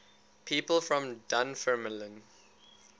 people from dunfermline